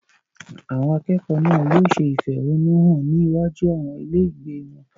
Àwọn akẹ́kọ̀ọ́ náà yóò ṣe ìfẹ̀húnnún hàn ní iwájú àwọn ilé ìgbé wọn.